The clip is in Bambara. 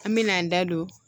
An me n'an da don